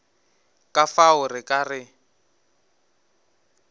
ka fao re ka re